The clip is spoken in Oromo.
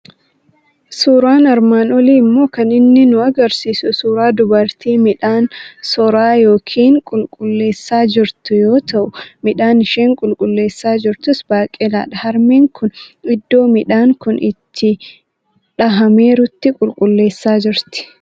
Suuraan armaan olii immoo kan inni nu argisiisu suuraa dubartii midhaan soraa yookiin qulqulleessaa jirtu yoo ta'u, midhaan isheen qulleessaa jirtus baaqelaadha. Harmeen kun iddoo midhaan kun itti dhahameerutti qulleessaa jirti.